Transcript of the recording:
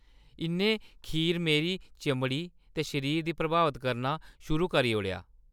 इ'न्नै खीर च मेरी चमड़ी ते शरीर गी प्रभावत करना कर शुरू करी ओड़ेआ।